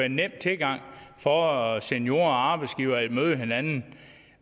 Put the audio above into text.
en nem tilgang for seniorer og arbejdsgivere til at møde hinanden